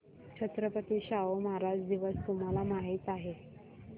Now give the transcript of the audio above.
छत्रपती शाहू महाराज दिवस तुम्हाला माहित आहे